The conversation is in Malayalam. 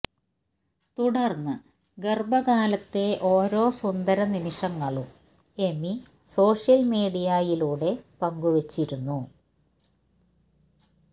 തുടര്ന്ന് ഗര്ഭകാലത്തെ ഓരോ സുന്ദര നിമിഷങ്ങളും എമി സോഷ്യല് മീഡിയയിലൂടെ പങ്കുവെച്ചിരുന്നു